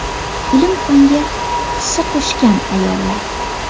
Ilm-fanga hissa qo‘shgan ayollar.